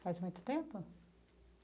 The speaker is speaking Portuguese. Faz muito tempo?